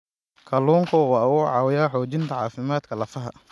Kalluunku waxa uu caawiyaa xoojinta caafimaadka lafaha.